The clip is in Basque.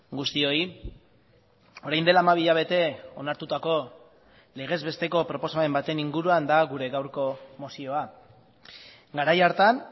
guztioi orain dela hamabi hilabete onartutako legez besteko proposamen baten inguruan da gure gaurko mozioa garai hartan